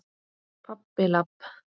Pabbi- labb.